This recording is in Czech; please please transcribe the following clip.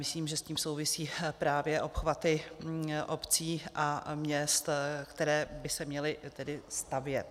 Myslím, že s tím souvisí právě obchvaty obcí a měst, které by se měly tedy stavět.